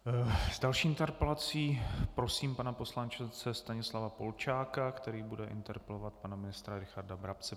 S další interpelací prosím pana poslance Stanislava Polčáka, který bude interpelovat pana ministra Richarda Brabce.